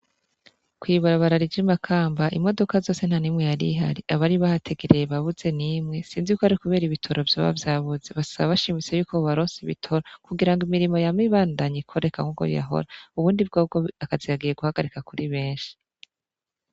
Kw'ibarabara rija i makamba imodoka zose nta nimwe yarihari abari bahategereye babuze n'imwe sinzi yuko ari kubera ibitoro vyoba vyabuze, basaba abashimitse yuko barose bitoro kugira ngo imirimo yame ibandanye ikoreka nkuko yahora ubundi bwobwo akazi kagiye guhagarika kuri benshi.